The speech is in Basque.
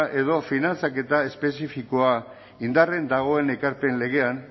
edo finantzaketa espezifikoa indarrean dagoen ekarpen legean